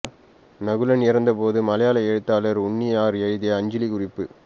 நகுலன் இறந்த போது மலையாள எழுத்தாளர் உண்ணி ஆர் எழுதிய அஞ்சலிக்குறிப்பு